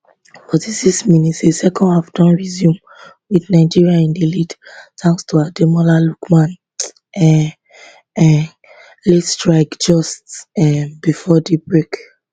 46 mins di second half don resume wit nigeria in di lead thanks to ademola lookman um um late strike just um before di break